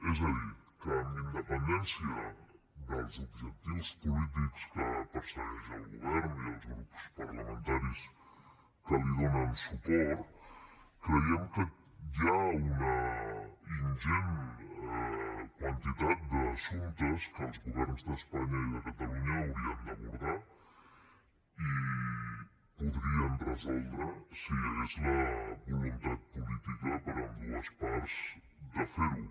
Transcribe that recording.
és a dir que amb independència dels objectius polítics que persegueixen el govern i els grups parlamentaris que hi donen suport creiem que hi ha una ingent quantitat d’assumptes que els governs d’espanya i de catalunya haurien d’abordar i podrien resoldre si hi hagués la voluntat política per ambdues parts de fer ho